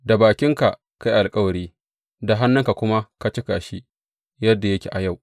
Da bakinka ka yi alkawari, da hannunka kuma ka cika shi, yadda yake a yau.